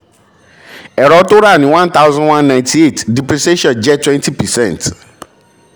ẹ̀rọ tó ra ní one thousand one ninety eight depreciation jẹ́ twenty percent.